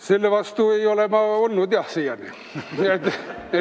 Selle vastu ei ole ma siiani küll olnud.